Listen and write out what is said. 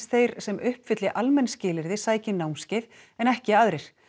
þeir sem uppfylli almenn skilyrði sæki námskeið en ekki aðrir